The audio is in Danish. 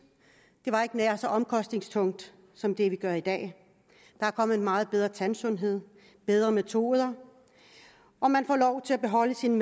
det var ikke nær så omkostningstungt som det vi gør i dag der er kommet en meget bedre tandsundhed og bedre metoder og man får lov til at beholde sine